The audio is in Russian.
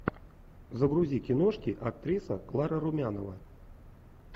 загрузи киношки актриса клара румянова